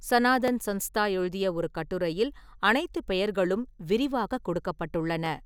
சனாதன் சன்ஸ்தா எழுதிய ஒரு கட்டுரையில் அனைத்து பெயர்களும் விரிவாக கொடுக்கப்பட்டுள்ளன.